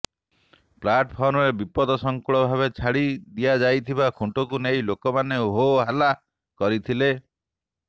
ପ୍ଲାଟଫର୍ମରେ ବିପଦସଂକୁଳ ଭାବେ ଛାଡ଼ି ଦିଆଯାଇଥିବା ଖୁଣ୍ଟକୁ ନେଇ ଲୋକମାନେ ହୋହଲ୍ଲା କରିଥିଲେ